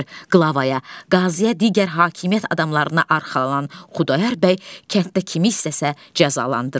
Qlavaya, qaziyə, digər hakimiyyət adamlarına arxalanan Xudayar bəy kənddə kimi istəsə cəzalandırır.